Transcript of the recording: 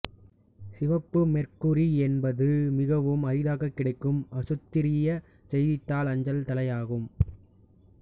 சிவப்பு மேர்க்குரி என்பது மிகவும் அரிதாகக் கிடைக்கும் ஆசுத்திரிய செய்தித்தாள் அஞ்சல்தலை ஆகும்